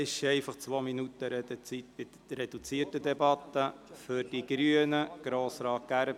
Die Redezeit beträgt in der reduzierten Debatte einfach zwei Minuten.